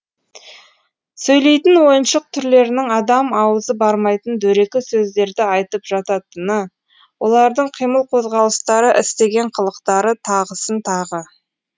сөйлейтін ойыншық түрлерінің адам ауызы бармайтын дөрекі сөздерді айтып жататыны олардың қимыл қозғалыстары істеген қылықтары тағысын тағы